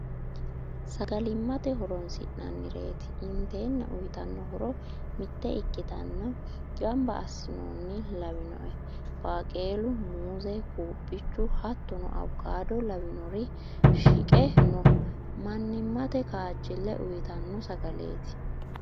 Sagalimate horonsi'nannireti intenna uyittano horo mite ikkitenna gamba assinonni lawinoe baqelu muze quphichu hattono awukado lawinori shiqqe no manimate kaajile uyittano sagaleti.